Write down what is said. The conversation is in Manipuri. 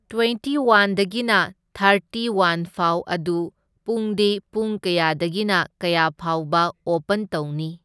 ꯇ꯭ꯋꯦꯟꯇꯤ ꯋꯥꯟꯗꯒꯤꯅ ꯊꯥꯔꯇꯤ ꯋꯥꯟꯐꯥꯎ ꯑꯗꯨ ꯄꯨꯡꯗꯤ ꯄꯨꯡ ꯀꯌꯥꯗꯒꯤꯅ ꯀꯌꯥ ꯐꯥꯎꯕ ꯑꯣꯄꯟ ꯇꯧꯅꯤ?